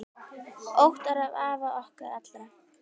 Óttar er afi okkar allra.